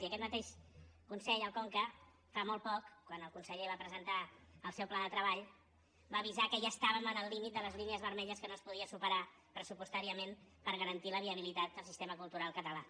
i aquest mateix consell el conca fa molt poc quan el conseller va presentar el seu pla de treball va avisar que ja estàvem al límit de les línies vermelles que no es podia superar pressupostàriament per garantir la viabilitat del sistema cultural català